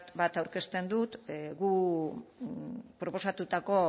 bat aurkezten du guk proposatutako